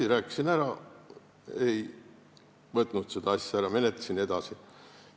Ma rääkisin ja ta ei võtnud seda asja mult ära, ma menetlesin seda edasi.